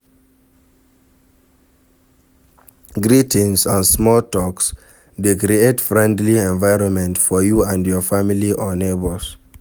Greetings and small talks de create friendly environment for you and your family or neighbours